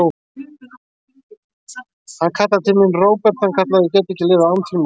Hann kallaði til mín, Róbert, hann kallaði: Ég get ekki lifað án þín, mamma.